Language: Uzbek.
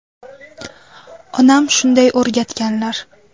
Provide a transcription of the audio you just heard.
Onam shunday o‘rgatganlar.